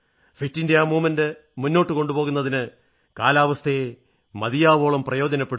fit India പ്രസ്ഥാനം മുന്നോട്ടു കൊണ്ടുപോകുന്നതിന് കാലാവസ്ഥയെ മതിയാവോളം പ്രയോജനപ്പെടുത്തൂ